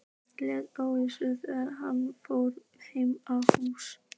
Léttir ólýsanlega þegar hann horfir heim að húsinu.